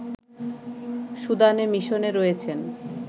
সুদানে মিশনে রয়েছেন